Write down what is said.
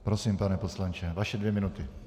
Prosím, pane poslanče, vaše dvě minuty.